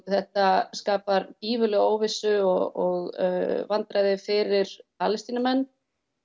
þetta skapar gífurlega óvissu og vandræði fyrir Palestínumenn